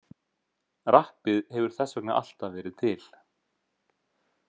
Rappið hefur þess vegna alltaf verið til.